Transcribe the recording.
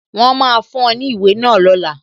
Wọn máa fún ọ ní ìwé náà lọ́la